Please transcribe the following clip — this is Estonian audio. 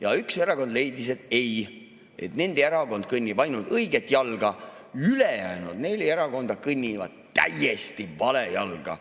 Aga üks erakond leidis, et ei, ainult nende erakond kõnnib õiget jalga, ülejäänud neli erakonda kõnnivad täiesti vale jalga.